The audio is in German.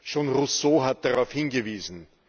Schon Rousseau hat darauf hingewiesen.